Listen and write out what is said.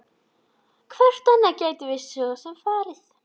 Hvert annað gætum við svo sem farið?